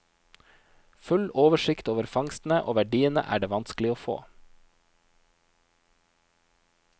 Full oversikt over fangstene og verdiene er det vanskelig å få.